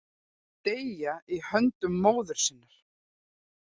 Deyja í höndum móður sinnar.